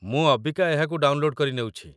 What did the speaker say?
ମୁଁ ଅବିକା ଏହାକୁ ଡାଉନଲୋଡ୍ କରି ନେଉଛି